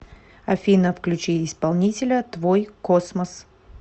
афина включи исполнителя твойкосмос